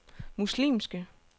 muslimske